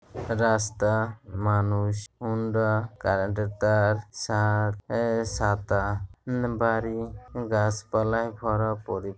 রাস্তা মানুষ হুন্ডা কারেন্টের তার ছাদ এ-ছাতা উ-বাড়ি গাড়ি গাছপালা ভরা পরি--